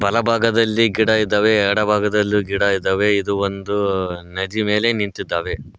ಬಲಭಾಗದಲ್ಲಿ ಗಿಡ ಇದಾವೆ ಎಡಭಾಗದಲ್ಲೂ ಗಿಡ ಇದ್ದಾವೆ ಇದು ಒಂದು ನದಿ ಮೇಲೆ ನಿಂತಿದ್ದಾವೆ.